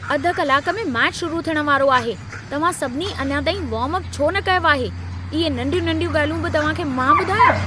अधु कलाक में मैचु शुरू थियण वारो आहे। तव्हां सभिनी अञां ताईं वार्म-अपु छो न कयो आहे? इहे नंढियूं-नंढियूं ॻाल्हियूं बि तव्हां खे मां ॿुधायां?